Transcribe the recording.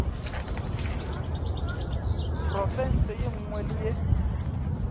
profense ye nngwe le ye